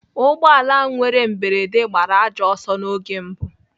Ụgbọala ahụ nwere mberede gbara ajọ ọsọ n'oge mbụ.